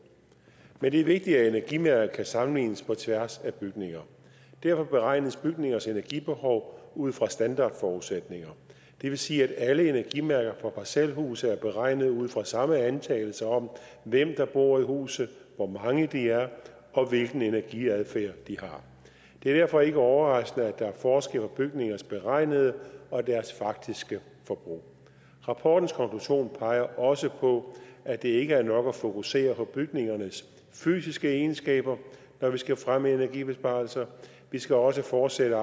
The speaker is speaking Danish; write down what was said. men det er vigtigt at energimærket kan sammenlignes på tværs af bygninger derfor beregnes bygningers energibehov ud fra standardforudsætninger det vil sige at alle energimærker for parcelhuse er beregnet ud fra samme antagelse om hvem der bor i huset hvor mange de er og hvilken energiadfærd det er derfor ikke overraskende at der er forskel på bygningers beregnede og deres faktiske forbrug rapportens konklusion peger også på at det ikke er nok at fokusere på bygningernes fysiske egenskaber når vi skal fremme energibesparelser vi skal også fortsætte